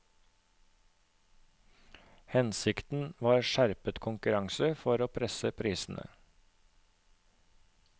Hensikten var skjerpet konkurranse for å presse prisene.